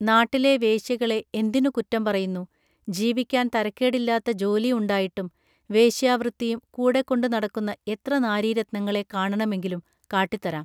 നാട്ടിലെ വേശ്യകളെ എന്തിനു കുറ്റം പറയുന്നു ജീവിക്കാൻ തരക്കേടില്ലാത്ത ജോലി ഉണ്ടായിട്ടും വേശ്യാവൃത്തിയും കൂടെകൊണ്ട് നടക്കുന്ന എത്ര നാരീരത്നങ്ങളെ കാണണമെങ്കിലും കാട്ടിത്തരം